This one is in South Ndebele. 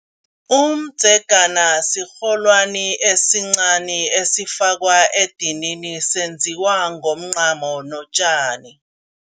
Umdzegana sirholwani esincani esifakwa edinini, senziwa ngomncamo notjani.